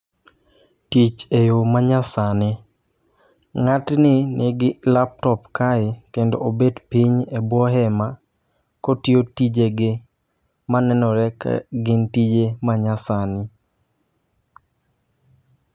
Tich e yo ma nyasani. Ng'atni nigi laptop kae, kendo obet piny e bwo hema kotiyo tijege manenore ka gin tije ma nyasani.